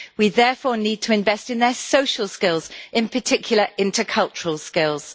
We therefore need to invest in their social skills, in particular intercultural skills.